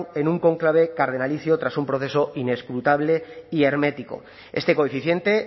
en un cónclave cargadísimo tras un proceso inescrutable y hermético este coeficiente